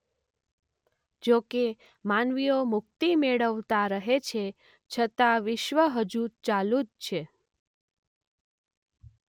જો કે માનવીઓ મુક્તિ મેળવતા રહે છે છતાં વિશ્વ હજુ ચાલુ જ છે.